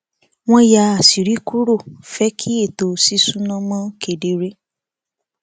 wọn yà àṣírí kúrò fẹ kí ètò ṣíṣúná mọ kedere